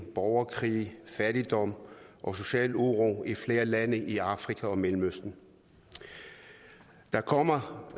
borgerkrige fattigdom og social uro i flere lande i afrika og mellemøsten der kommer